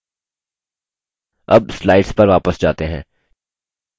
अब slides पर वापस जाते हैं